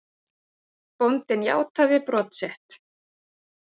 Bóndinn játaði brot sitt.